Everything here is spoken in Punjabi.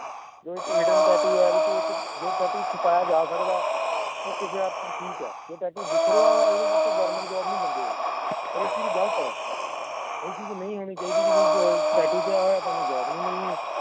ਜੇ ਇੱਕ hidden tattoo ਆ ਜੇ ਇੱਕ tattoo ਛੁਪਾਇਆ ਜਾ ਸਕਦਾ ਹੈ ਉਹ ਕਿਸੇ ਹੱਦ ਤੱਕ ਠੀਕ ਆ ਜੇ tattoo ਦਿੱਖ ਰਿਹਾ ਆ ਓਹਦੇ ਵਿਚ government job ਨੀ ਮਿਲਦੀ ਹੈਗੀ ਪਰ ਇਹ ਚੀਜ਼ ਗਲਤ ਆ ਇਹ ਚੀਜ਼ ਨਹੀਂ ਹੋਣੀ ਚਾਹੀਦੀ ਬਈ ਜੇ ਤੂੰ tattoo ਪਵਾਇਆ ਆ ਤਾਂ ਤੈਂਨੂੰ job ਨੀ ਮਿਲਣੀ